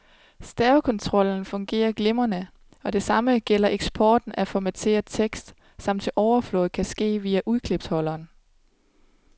Stavekontrollen fungerer glimrende, og det samme gælder eksporten af formateret tekst, som til overflod kan ske via udklipsholderen.